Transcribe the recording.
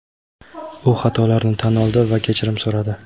u xatolarini tan oldi va kechirim so‘radi.